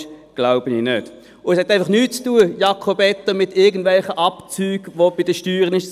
Es hat, Jakob Etter, auch nichts zu tun mit irgendwelchen Abzügen, die man bei den Steuern machen kann.